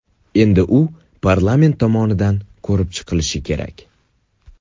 Endi u parlament tomonidan ko‘rib chiqilishi kerak.